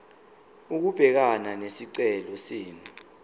ukubhekana nesicelo senu